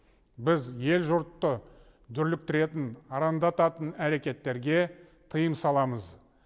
біз ел жұртты дүрліктіретін арандататын әрекеттерге тыйым саламыз